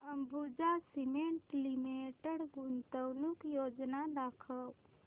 Ambuja cement limited गुंतवणूक योजना दाखव